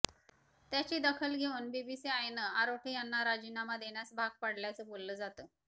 त्याची दखल घेऊन बीसीसीआयनं आरोठे यांना राजीनामा देण्यास भाग पाडल्याचं बोललं जातं